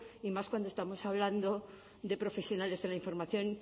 y más cuando estamos hablando de profesionales de la información